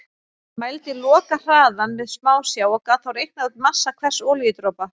Hann mældi lokahraðann með smásjá og gat þá reiknað út massa hvers olíudropa.